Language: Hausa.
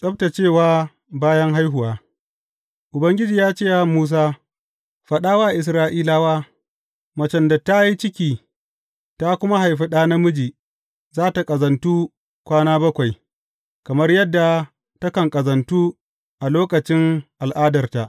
Tsabtaccewa bayan haihuwa Ubangiji ya ce wa Musa, Faɗa wa Isra’ilawa, Macen da ta yi ciki ta kuma haihu ɗa namiji za tă ƙazantu kwana bakwai, kamar yadda takan ƙazantu a lokacin al’adarta.